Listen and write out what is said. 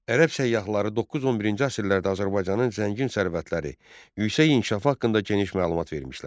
Ərəb səyyahları 9-11-ci əsrlərdə Azərbaycanın zəngin sərvətləri, yüksək inkişaf haqqında geniş məlumat vermişlər.